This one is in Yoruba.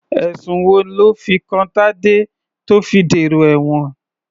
Ẹ̀sùn wo lọ́ fi kan Tadé tó fi dèrò ẹ̀wọ̀n?